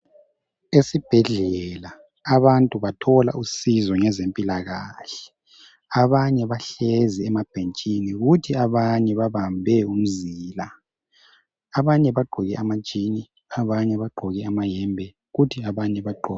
Esibhedlela abantu bathola usizo ngezempilakahle. Abanye bahlezi emabhentshini, kuthi abanye babambe umzila. Amanye bagqoke ama jini, abanye bagqoke amayembe kuthi abanye bagqo.